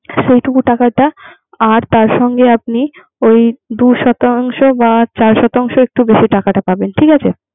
সেটুকু টাকাটা আর তার সঙ্গে আপনি ওই দুই শতাংশ বা চার শতাংশ এর একটু বেশি টাকাটা পাবেন